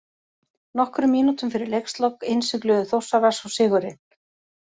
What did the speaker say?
Nokkrum mínútum fyrir leikslok innsigluðu Þórsarar svo sigurinn.